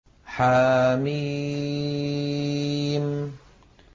حم